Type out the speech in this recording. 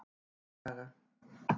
Tunguhaga